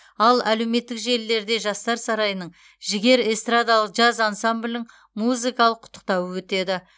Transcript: ал әлеуметтік желілерде жастар сарайының жігер эстрадалық джаз ансамблінің музыкалық құттықтауы өтеді